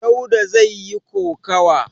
Dauda zai yi kokawa.